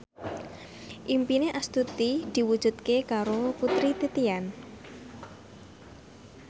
impine Astuti diwujudke karo Putri Titian